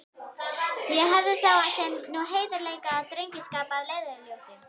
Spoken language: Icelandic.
Ég hafði þá sem nú heiðarleika og drengskap að leiðarljósi.